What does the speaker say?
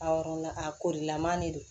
Awɔ a korilaman de don